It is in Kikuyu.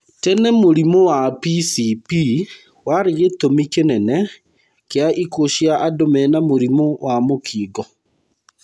Tene mũrimũ wa PCP warĩ gĩtũmi kĩnene kĩa ikuũ cia andũ mena mũrimũ wa mũkingo.